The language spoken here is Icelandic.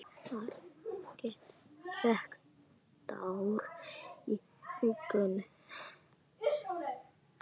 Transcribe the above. Margrét fékk tár í augun.